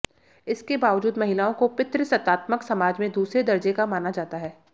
इसके बावजूद महिलाओं को पितृसत्तात्मक समाज में दूसरे दर्जे का माना जाता है